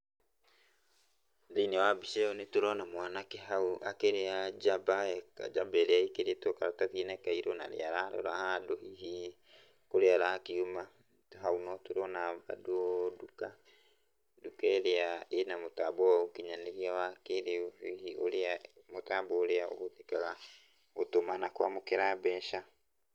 Thĩinĩ wa mbica ĩyo nĩ tũrona mwanake hau akĩrĩa jaba, jaba ĩrĩa ĩkĩrĩtwo karatathi-inĩ kairũ. Na nĩ ararora handũ hihi kũrĩa arakiuma. Na hau no tũrona bandũ nduka, nduka irĩa ĩna mũtambo wa ũkinyanĩria wa kĩrĩu wĩgiĩ ũrĩa mũtambo ũrĩa ũhũthĩkaga gũtũma na kwamũkĩra mbeca.